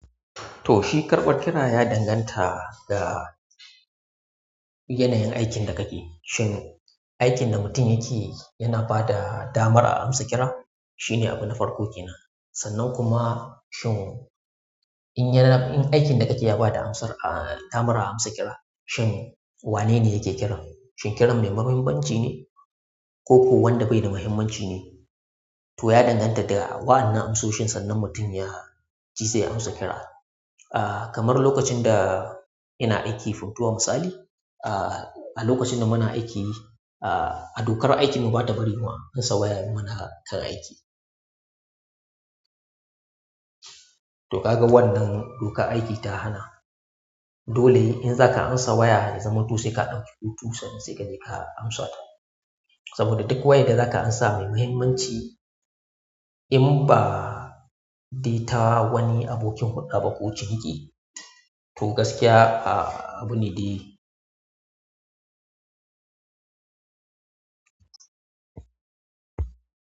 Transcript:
To shi karɓar kira ya danganta da yanayin aikin da kake. Shin aikin da mutum yake yana bada damar a amsa kira? Shine abu na farko kenan. Sannan kuma shin in aikin da kake ya bada amsar a damar a amsa kira, shin wane ne yake kiran? Shin kiran ne muhimmanci ne ko kuwa wanda baida muhimmanci ne? To ya danganta da waƴannan amso shin sannan mutum yaji zai amsa kira. Kamar lokacin da ina aiki fotuwa misali, a lokacin da muna aiki, a dokar aikin mu bata bari mu amsa waya muna kan aiki. To kaga wannan dokar aiki ta hana. Dole in zaka amsa waya, zamantu sai ka ɗauki hutu sannan sai kaje ka amsa ta. Saboda duk wayar da zaka amsa mai muhimmanci in ba dai ta wani abokin hulɗa ba ko ciniki, to gaskiya abune dai.